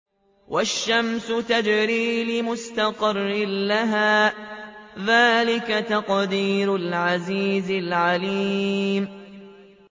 وَالشَّمْسُ تَجْرِي لِمُسْتَقَرٍّ لَّهَا ۚ ذَٰلِكَ تَقْدِيرُ الْعَزِيزِ الْعَلِيمِ